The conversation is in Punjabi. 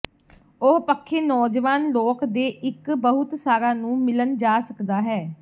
ਉਸ ਪੱਖੇ ਨੌਜਵਾਨ ਲੋਕ ਦੇ ਇੱਕ ਬਹੁਤ ਸਾਰਾ ਨੂੰ ਮਿਲਣ ਜਾ ਸਕਦਾ ਹੈ